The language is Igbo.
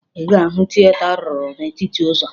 Ị ga-ahụ tieta a rụrụ n'etiti ụzọ